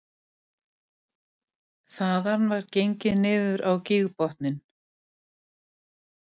Almanak HÍ selst best